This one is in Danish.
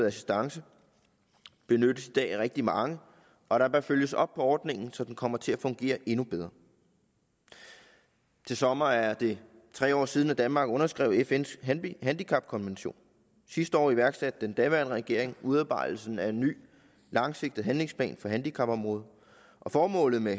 assistance benyttes i dag af rigtig mange og der bør følges op på ordningen så den kommer til at fungere endnu bedre til sommer er det tre år siden at danmark underskrev fns handicapkonvention sidste år iværksatte den daværende regering udarbejdelsen af en ny langsigtet handlingsplan for handicapområdet og formålet med